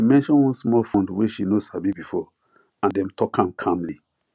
e mention one small fund way she no sabi before and dem talk am calmly